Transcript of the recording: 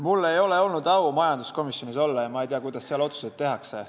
Mul ei ole olnud au majanduskomisjonis olla ja ma ei tea, kuidas seal otsuseid tehakse.